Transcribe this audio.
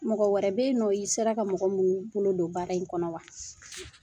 Mɔgɔ wɛrɛ bɛ ye nɔ i sera ka mɔgɔ mun bolo don baara in kɔnɔ wa?